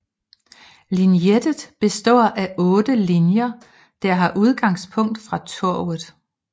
Linjenettet består af 8 linjer der har udgangspunkt fra Torvet